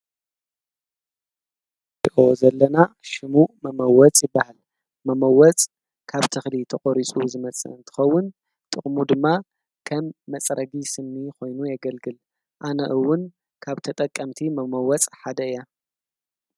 ።ድኦ ዘለና ሽሙእ መመወጽ ይበሃል መመወፅ ካብ ትኽሊ ተቖሪጹ ዝመጽ እንትኸውን ጥቕሙ ድማ ኸም መጸረጊ ስኒ ኾይኑ የገልግል ኣነእውን ካብ ተጠቀምቲ መመወፅ ሓደ እያ